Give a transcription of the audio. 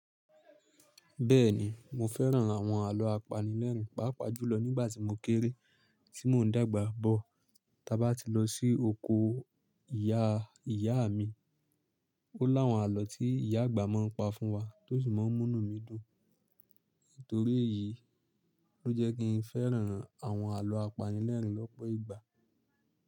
Bẹ́ẹ̀ni, mo fẹ́ràn àwọn àlọ́ apanilẹ́ẹ̀rín pàápàá jùlọ nígbàtí mo kéré. Tí mò ń dàgbà bọ̀, taba tí lọ sí oko ìyá ìyá mi, o lá àwọn àlọ́ tí ìyá àgbà má ń pa fún wa tósi má ń múnu mi dún. Torí èyí lọ jẹ́ kín fẹ́ràn àwọn àlọ́ apanilẹ́ẹ̀rín lọ́pọ̀ ìgbà.